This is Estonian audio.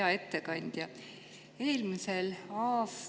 Hea ettekandja!